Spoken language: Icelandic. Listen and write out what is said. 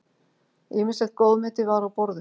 Ýmislegt góðmeti var á borðum.